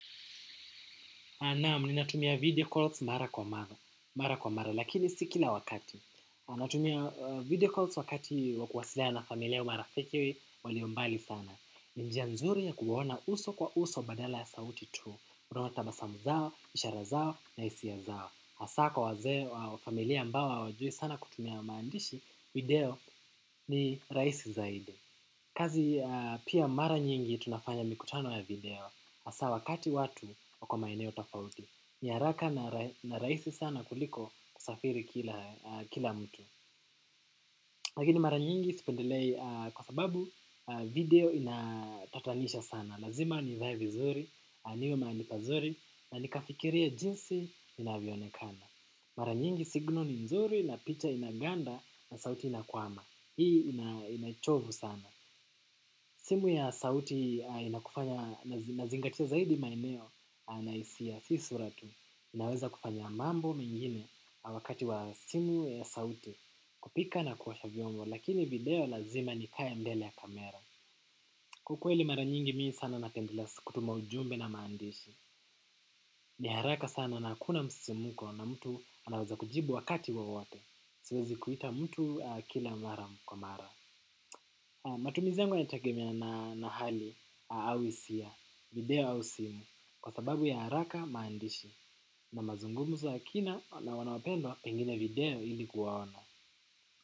Naam, ninatumia video calls mara kwa mara lakini si kila wakati. Natumia video calls wakati wa kuwasiliana na familia wa marafiki walio mbali sana. Ni njia nzuri ya kuona uso kwa uso badala ya sauti tu. Unaona tabasamu zao, ishara zao, na hisia zao. Hasaa kwa wazee wa familia ambao hawajui sana kutumia maandishi, video ni rahisi zaidi. Kazi pia mara nyingi tunafanya mikutano ya video. Hasa wakati watu wako maeneo tafauti. Ni haraka na rahisi sana kuliko kusafiri kila mtu. Lakini mara nyingi sipendelei kwa sababu video inatatanisha sana. Lazima nivae vizuri, niwe mahali pazuri na nikafikirie jinsi ninavyoonekana. Mara nyingi signal ni nzuri na picha inaganda na sauti inakwama. Hii ina chovu sana. Simu ya sauti inakufanya unazingatia zaidi maeneo na hisia si sura tu. Inaweza kufanya mambo mengine wakati wa simu ya sauti kupika na kuosha vyombo lakini video lazima nikae mbele ya kamera. Kwa kweli mara nyingi mi sana napendelea kutuma ujumbe na maandishi. Ni haraka sana na hakuna msisimko na mtu anaweza kujibu wakati wowote. Siwezi kuita mtu kila mara kwa mara. Matumizi yangu yanategemea na hali au hisia, video au simu kwa sababu ya haraka maandishi na mazungumzo ya kina na wanapenda pengine video ili kuwaona.